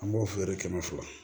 An b'o feere kɛmɛ fila